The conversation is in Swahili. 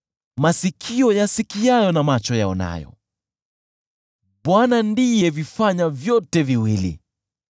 Masikio yasikiayo na macho yaonayo, Bwana ndiye alivifanya vyote viwili.